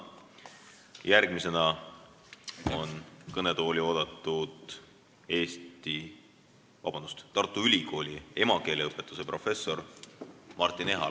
Järgmisena on kõnetooli oodatud Tartu Ülikooli emakeele õpetuse professor Martin Ehala.